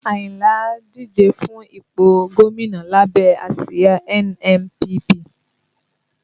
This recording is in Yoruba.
Ayinla ń díje fún ipò gómìnà lábẹ́ àsìá NNPP